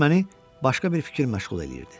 Çünki məni başqa bir fikir məşğul eləyirdi.